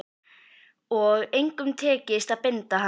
Og engum tekist að binda hann.